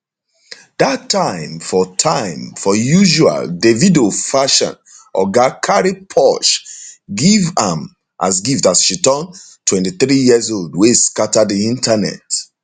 dat time for time for usual davido fashion oga cari porshe give am as gift as she turn 23 years old wey scata di internet